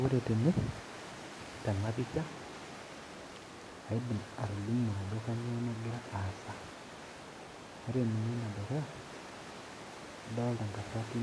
Ore tene tenapisha kaidim atolimu ajo kainyoo nagira aasa ,ore ninye enedukuya adolita ntasati